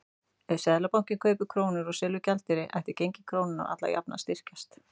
Ef Seðlabankinn kaupir krónur og selur gjaldeyri ætti gengi krónunnar alla jafna að styrkjast.